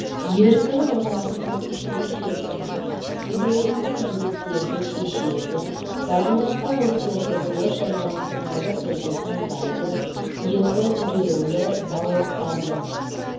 еркін орналасқан күштер жүйесінің теңелуіне міндеттерді шешеді координаттық осьтерді дұрыс және рационалды түрде таңдайды екі тіреулі балоктардың